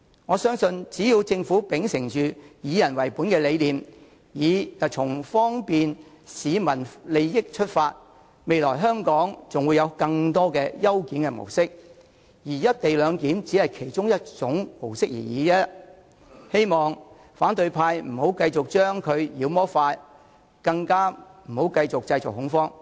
我相信只要政府秉承"以人為本"的理念，以方便市民利益為出發點，則未來香港還會有更多的優檢模式，而"一地兩檢"只是其中一種而已，希望反對派議員不要再將其妖魔化，更不要繼續製造恐慌了。